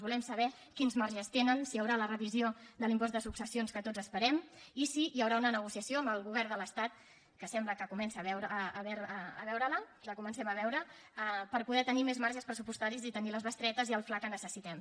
volem saber quins marges tenen si hi haurà la revisió de l’impost de successions que tots esperem i si hi haurà una negociació amb el govern de l’estat que sembla que la comencem a veure per poder tenir més marges pressupostaris i tenir les bestretes i el fla que necessitem